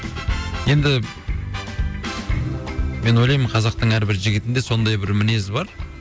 енді мен ойлаймын қазақтың әрбір жігітінде сондай бір мінез бар